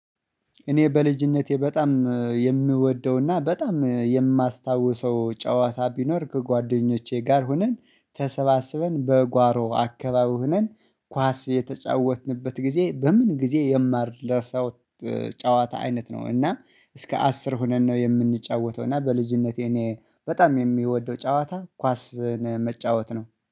እኔ በልጅነቴ በጣም የምወደውና በጣም የማስታውሰው ጨዋታ ቢኖር ከጓደኞቼ ጋር ሆነን ተሰባስበን በጓሮ አካባቢ ሆነን ኳስ የተጫወትንበት ጊዜ በምን ጊዜ የማረሳው? ጨዋታ አይነት ነው እና እስከ አስር ሆነን ነው የምንጫወተው እና በልጅነቴ እኔ በጣም የሚወደው ጨዋታ ኳስን መጫወት ነው